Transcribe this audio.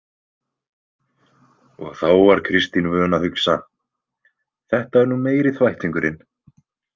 Og þá var Kristín vön að hugsa: Þetta er nú meiri þvættingurinn.